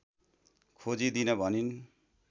खोजिदिन भनिन्